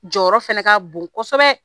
Jɔyɔrɔ fɛna ka bon kosɛbɛ